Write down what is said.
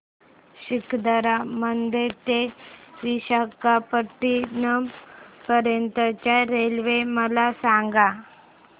सिकंदराबाद ते विशाखापट्टणम पर्यंत च्या रेल्वे मला सांगा